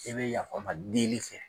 I bɛ yaaf'an kɔ deli fɛ.